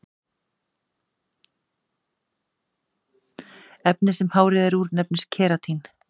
efnið sem hárið er úr nefnist keratín